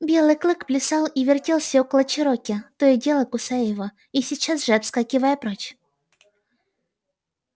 белый клык плясал и вертелся около чероки то и дело кусая его и сейчас же отскакивая прочь